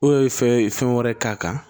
O ye fɛn ye fɛn wɛrɛ k'a kan